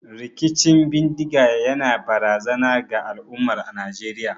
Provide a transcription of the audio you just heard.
Rikicin bindiga yana barazana ga al'ummar Najeriya.